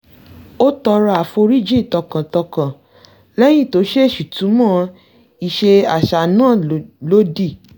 ó tọrọ àforíjì tọkàntọkàn lẹ́yìn tó ṣèèṣì túnmọ̀ ìṣe àṣà náà lódì